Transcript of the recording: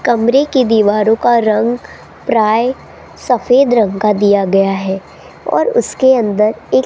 कमरे की दीवारों का रंग प्राय सफेद रंग का दिया गया है और उसके अंदर एक --